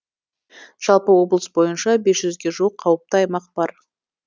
жалпы облыс бойынша бес жүзге жуық қауіпті аймақ бар